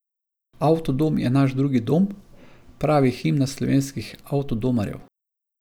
Avtodom je naš drugi dom, pravi himna slovenskih avtodomarjev.